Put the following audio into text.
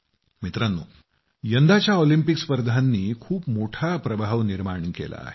मित्रांनो यंदाच्या ऑलिंपिक स्पर्धांनी खूप मोठा प्रभाव निर्माण केला आहे